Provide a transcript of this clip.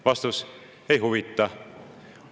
Vastus: ei huvita.